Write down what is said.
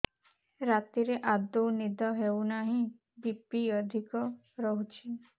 ରାତିରେ ଆଦୌ ନିଦ ହେଉ ନାହିଁ ବି.ପି ଅଧିକ ରହୁଛି